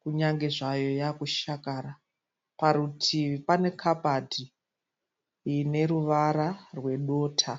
kunyange zvayo yaakushakara. Parutivi panekabati ineruvara rwedota.